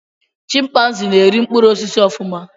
Chimpanzees na-eri mkpụrụ osisi ofuma